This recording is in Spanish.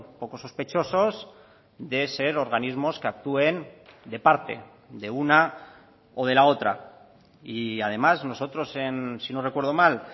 poco sospechosos de ser organismos que actúen de parte de una o de la otra y además nosotros si no recuerdo mal